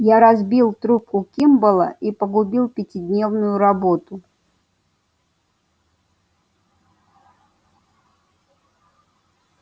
я разбил трубку кимболла и погубил пятидневную работу